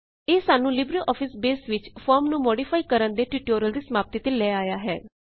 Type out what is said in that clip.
ਇਹ ਸਾਨੂੰ LibreOffice Base ਵਿੱਚ ਫੋਰਮ ਨੂੰ ਮੌਡਿਫਾਈ ਕਰਨ ਦੇ ਟਿਯੂਟੋਰਿਅਲ ਦੀ ਸਮਾਪਤੀ ਤੇ ਲੈ ਆਇਆ ਹੈ